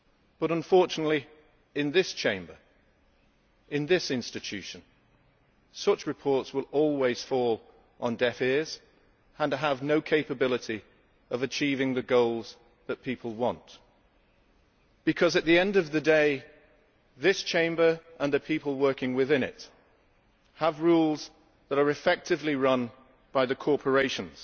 But unfortunately, in this Chamber, in this institution, such reports will always fall on deaf ears and have no capability to achieve the goals that people want, because at the end of the day this Chamber and the people working within it have rules that are effectively run by the corporations.